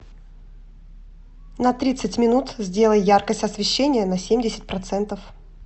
на тридцать минут сделай яркость освещения на семьдесят процентов